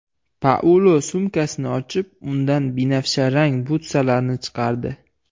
Paulo sumkasini ochib, undan binafsharang butsalarni chiqardi.